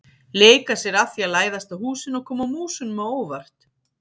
Leika sér að því að læðast að húsinu og koma músunum á óvart.